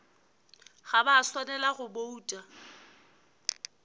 ga ba swanela go bouta